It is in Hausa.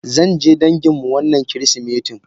Zanje danginmu wannan kirisimetin.